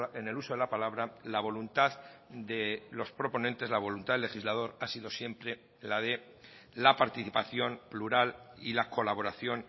en el uso de la palabra la voluntad de los proponentes la voluntad del legislador ha sido siempre la de la participación plural y la colaboración